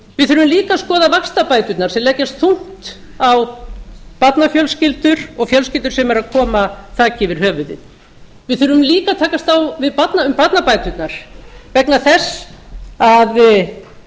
við þurfum líka að skoða vaxtabæturnar sem leggjast þungt á barnafjölskyldur og fjölskyldur sem eru að koma þaki yfir höfuðið við þurfum líka að takast á um barnabæturnar vegna þess að